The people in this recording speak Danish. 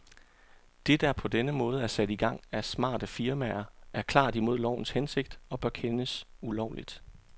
Det, der på denne måde er sat i gang af smarte firmaer, er klart imod lovens hensigt og bør kendes ulovligt.